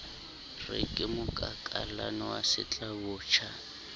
re ke mokakallane wa setlabotjha